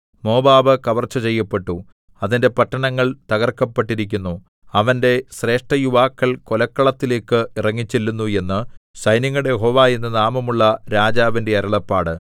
Moab കവർച്ച ചെയ്യപ്പെട്ടു അതിന്റെ പട്ടണങ്ങൾ തകർക്കപ്പെട്ടിരിക്കുന്നു അവന്റെ ശ്രേഷ്ഠയുവാക്കൾ കൊലക്കളത്തിലേക്ക് ഇറങ്ങിച്ചെല്ലുന്നു എന്ന് സൈന്യങ്ങളുടെ യഹോവ എന്നു നാമമുള്ള രാജാവിന്റെ അരുളപ്പാട്